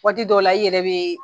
Waati dɔw la i yɛrɛ be